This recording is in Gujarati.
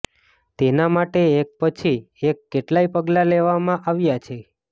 તેના માટે એક પછી એક કેટલાય પગલા લેવામાં આવ્યા છે